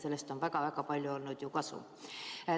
Sellest on väga-väga palju kasu olnud.